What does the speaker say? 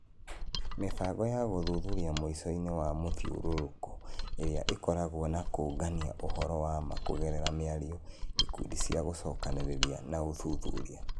Mĩbango ya gũthuthuria mũico-inĩ wa mũthiũrũrũko ĩrĩa ĩkoragwo na kũũngania ũhoro wa ma kũgerera mĩario, ikundi cia gũcokanĩrĩria na ũthuthuria.